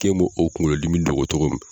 K'e m'o o kungolo dimi dɔgɔ cogo min.